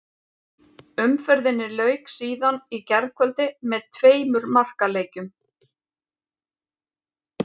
Umferðinni lauk síðan í gærkvöldi með tveimur markaleikjum.